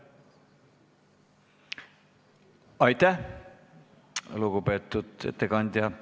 Aitäh, lugupeetud ettekandja!